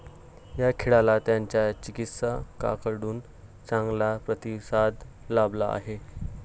या खेळाला त्याच्या चिकित्सकांकडून चांगला प्रतिसाद लाभला आहे.